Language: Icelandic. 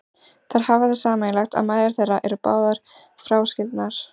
Þær eiga það sameiginlegt að mæður þeirra eru báðar fráskildar.